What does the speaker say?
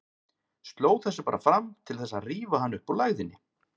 Sló þessu bara fram til þess að rífa hann upp úr lægðinni.